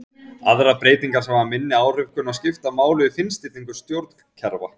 Aðrar breytingar sem hafa minni áhrif kunna að skipta máli við fínstillingu stjórnkerfa.